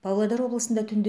павлодар облысында түнде